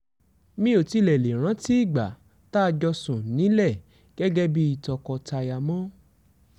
mi ò tiẹ̀ lè rántí ìgbà tá a jọ sùn nílẹ̀ gẹ́gẹ́ bíi tọkọ-taya mọ́